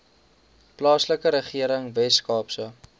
plaaslike regering weskaapse